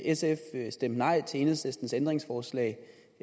sf stemte nej til enhedslistens ændringsforslag